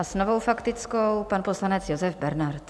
A s novou faktickou pan poslanec Josef Bernard.